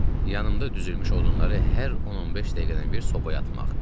Yanımda düzülmüş odunları hər 10-15 dəqiqədən bir sobaya atmaq.